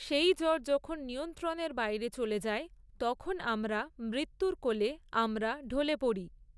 সেই জ্বর যখন নিয়ন্ত্রণের বাইরে চলে যায় তখন আমরা মৃত্যুর কোলে আমরা ঢলে পরি।